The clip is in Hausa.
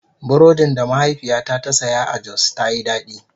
Burodin da mahaifiyata ta saya a Jos ta Yi daɗi.